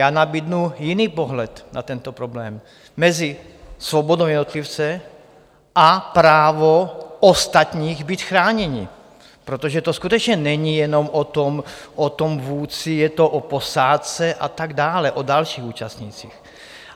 Já nabídnu jiný pohled na tento problém, mezi svobodou jednotlivce a právem ostatních být chráněni, protože to skutečně není jenom o tom vůdci, je to o posádce a tak dále, o dalších účastnících.